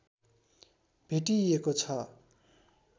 भेटिइएको छ